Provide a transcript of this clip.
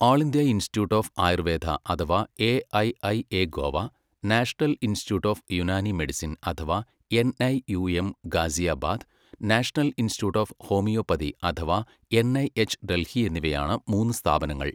All India institute of Ayurveda അഥവാ AIIA Goa, national institute of Unani medicine അഥവാ NIUM Ghaziabad, national institute of homoeopathy അഥവാ NIH Delhi എന്നിവയാണ് മൂന്ന് സ്ഥാപനങ്ങൾ.